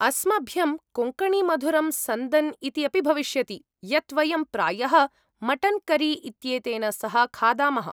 अस्मभ्यं कोङ्कणी मधुरं सन्दन् इति अपि भविष्यति, यत् वयं प्रायः मटन् करी इत्येतेन सह खादामः।